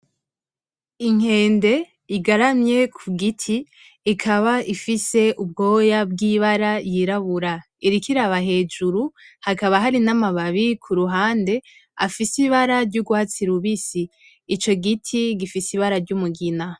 Inkende igaramye ku giti ikaba ifise ubwoya bw’ibara yirabura, iriko iraba hejuru, hakaba hari n’amababi ku ruhande afise ibara ry’urwatsi rubisi. Ico giti gifise ibara ry’umugina.